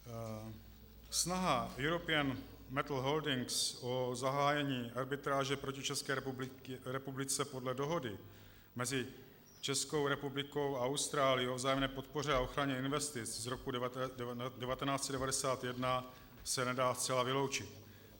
Snaha European Metals Holdings o zahájení arbitráže proti České republice podle Dohody mezi Českou republikou a Austrálií o vzájemné podpoře a ochraně investic z roku 1991 se nedá zcela vyloučit.